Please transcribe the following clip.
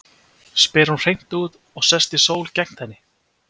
spyr hún hreint út og sest í stól gegnt henni.